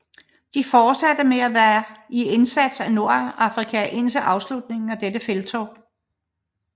De fortsatte med at være i indsats i Nordafrika indtil afslutningen af dette felttog